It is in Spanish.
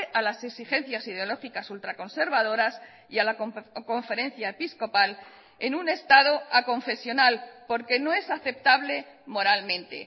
a las exigencias ideológicas ultraconservadoras y a la conferencia episcopal en un estado aconfesional porque no es aceptable moralmente